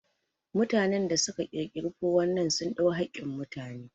Mutanen da su ka ƙirƙiri ''419'' sun ɗau hakkin mutane